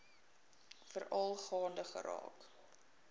veral gaande geraak